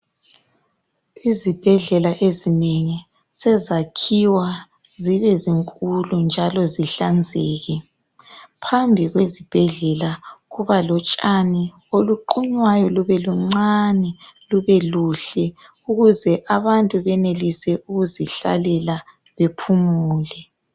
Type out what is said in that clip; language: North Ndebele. Izibhedlela ezinengi sezisakhiwa zibenkulu njalo zihlanzeke phambi kwezibhedlela kuba lotshani obuqunywayo bubenuncane bube buhle ukuze abantu bahlale